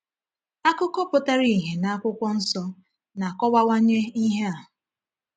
Akụkọ pụtara ìhè n’Akụkwọ Nsọ na-akọwawanye ihe a.